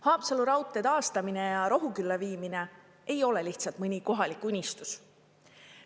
Haapsalu raudtee taastamine ja Rohukülla viimine ei ole lihtsalt mõni kohalik unistus.